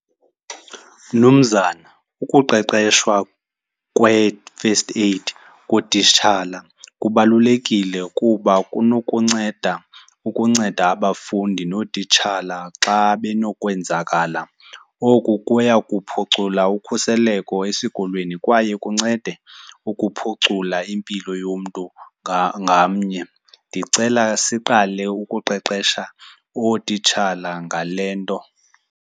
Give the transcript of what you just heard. Mnumzana, ukuqeqeshwa kwe-first aid kootitshala kubalulekile kuba kunokunceda ukunceda abafundi nootitshala xa benokwenzakala. Oku kuya kuphucula ukhuseleko esikolweni kwaye kuncede ukuphucula impilo yomntu ngamnye. Ndicela siqale ukuqeqesha ootitshala ngale nto.